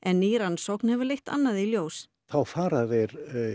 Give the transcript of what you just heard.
ný rannsókn leitt annað í ljós þá fara þeir